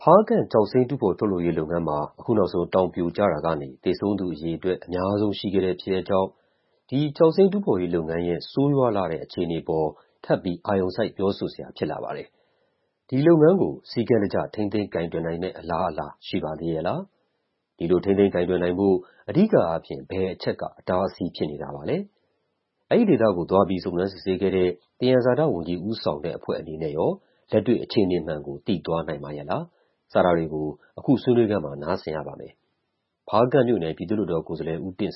ဖားကန့် ကျောက်စိမ်းတူးဖော်ထုတ်လုပ်ရေးလုပ်ငန်းမှာ အခုနောက်ဆုံး တောင်ပြိုကျတာ ကနေ သေဆုံးသူအရေအတွက် အများဆုံးရှိခဲ့တဲ့ဖြစ်ရပ်ကြောင့် ဒီ ကျောက်စိမ်းတူးဖော်ရေး လုပ်ငန်းရဲ့ဆိုးရွားလှတဲ့အခြေအနေအပေါ် ထပ်ပြီး အာရုံစိုက်ပြောဆိုစရာဖြစ်လာပါတယ်။ ဒီလုပ်ငန်းကို စည်းကမ်းတကျ ထိန်းသိမ်းကိုင်တွယ်နိုင်မယ့် အလားအလာရှိပါသေးရဲ့လား၊ ဒီလိုထိန်းသိမ်းကိုင်တွယ်ဖို့ အဓိကအားဖြင့် ဘယ်အချက်က အတားအဆီးဖြစ်နေတာပါလဲ၊ အဲဒီဒေသကိုသွားပြီး စုံစမ်းစစ်ဆေးခဲ့တဲ့ သယံဇာတဝန်ကြီး ဦးဆောင်တဲ့အဖွဲအနေနဲ့ရော လက်တွေ့အခြေအနေမှန်ကို သိသွားနိုင်ပါရဲ့လား စတာတွေကို အခုဆွေးနွေးခန်းမှာ နားဆင်ရပါမယ်။ ဖားကန့်မြို့နယ် ပြည်သူ့လွှတ်တော်ကိုယ်စားလှယ် ဦးတင့်